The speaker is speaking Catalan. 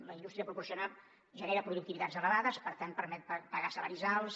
la indústria genera productivitats elevades per tant permet pagar salaris alts